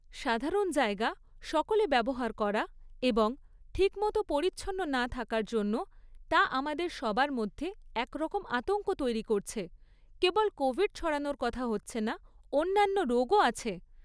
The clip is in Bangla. সাধারণ জায়গা সকলে ব্যবহার করা এবং ঠিকমতো পরিচ্ছন্ন না থাকার জন্য তা আমাদের সবার মধ্যে একরকম আতঙ্ক তৈরি করছে, কেবল কোভিড ছড়ানোর কথা হচ্ছে না, অন্যান্য রোগও আছে।